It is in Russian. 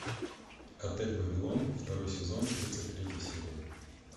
отель вавилон второй сезон тридцать третья серия